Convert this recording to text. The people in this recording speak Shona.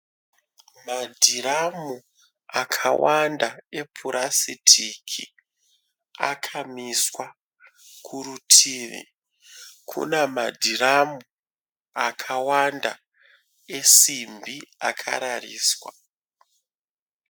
Madhiramu akawanda epurasitiki akamiswa. Kurutivi Kuna madhiramu akawanda esimbi akarariswa.